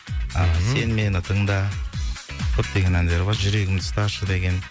ал сен мені тыңда көптеген әндері бар жүрегімді ұсташы деген